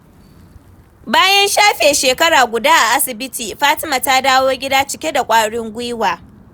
Bayan shafe shekara guda a asibiti, Fatima ta dawo gida cike da ƙwarin gwiwa.